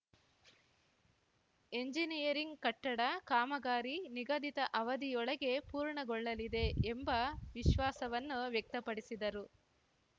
engineering ಕಟ್ಟಡ ಕಾಮಗಾರಿ ನಿಗಧಿತ ಅವಧಿಯೊಳಗೆ ಪೂರ್ಣಗೊಳ್ಳಲಿದೆ ಎಂಬ ವಿಶ್ವಾಸವನ್ನು ವ್ಯಕ್ತಪಡಿಸಿದರು